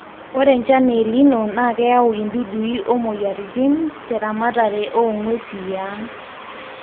ore enchan e El nino nakeyau idudui o moyiaritin te ramatare o nguesi e ang